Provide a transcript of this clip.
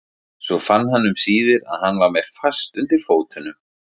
Svo fann hann um síðir að hann var með fast undir fótunum.